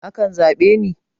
akan zabe ne